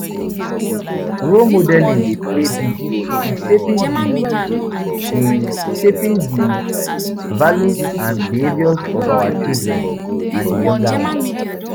Role modeling dey play big role in shaping di in shaping di values and behaviors of our children and younger ones.